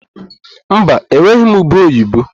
Mba, enweghị m ube oyibo.